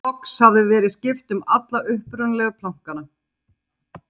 Loks hafði verið skipt um alla upprunalegu plankana.